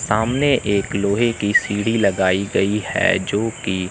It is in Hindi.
सामने एक लोहे की सीढ़ी लगाई गई है जो की--